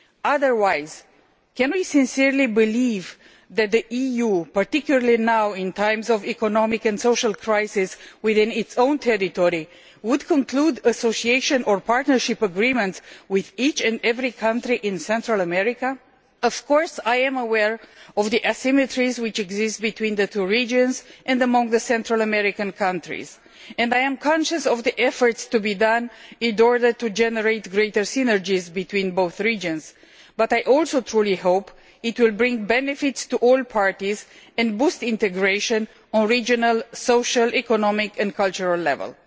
Otherwise, can we sincerely believe that the EU, particularly now in these times of economic and social crisis within its own territory, would conclude Association or Partnership Agreements with each and every country in Central America? Of course I am aware of the asymmetries which exist between the two regions and among the Central American countries, and I am conscious of the efforts to be made in order to generate greater synergies between both regions, but I also truly hope that this agreement will bring benefits to all parties and boost integration on a regional, social, economic and cultural level.